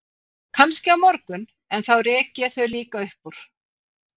Kannski á morgun, en þá rek ég þau líka upp úr